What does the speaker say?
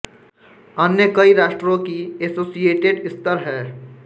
अन्य कई राष्ट्रों के ी एसोसिएटेड स्तर हैं